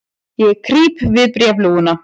Ég krýp við bréfalúguna.